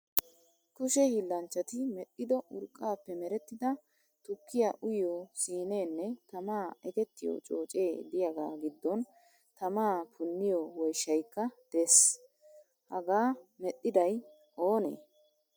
Kushe hiillanchchati medhdhido urqqaappe merettida tukkiya uyiyo siineenne tamaa ekettiyo coocee diyagaa giddon tamaa punniyo woyishshayikka de'ees. Hagga medhiday oonee?